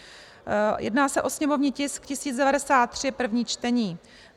Jedná se o sněmovní tisk 1093, první čtení.